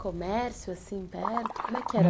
Comércio assim perto? com é que era?